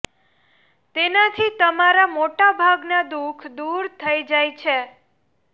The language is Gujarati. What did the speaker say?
તેનાથી તમારા મોટા ભાગના દુઃખ દૂર થઈ જાય છે